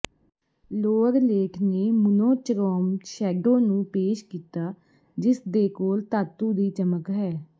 ਲੋਅਰਲੇਟ ਨੇ monochrome shadow ਨੂੰ ਪੇਸ਼ ਕੀਤਾ ਜਿਸਦੇ ਕੋਲ ਧਾਤੂ ਦੀ ਚਮਕ ਹੈ